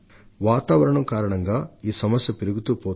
పర్యవారణం అధపతనం కారణంగా ఈ సమస్యలు విషమంగా మారుతున్నాయి